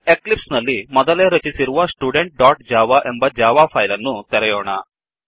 Eclipse ನಲ್ಲಿ ಮೊದಲೇ ರಚಿಸಿರುವ studentಜಾವಾ ಎಂಬ ಜಾವಾ ಪೈಲ್ ಅನ್ನು ತೆರೆಯೋಣ